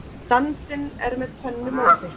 Dansinn er með tvennu móti.